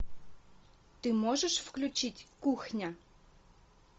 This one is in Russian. ты можешь включить кухня